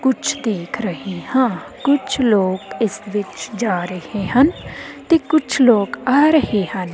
ਕੁਝ ਦੇਖ ਰਹੇ ਹਾਂ ਕੁਝ ਲੋਕ ਇਸ ਵਿੱਚ ਜਾ ਰਹੇ ਹਨ ਤੇ ਕੁਝ ਲੋਕ ਆ ਰਹੇ ਹਨ।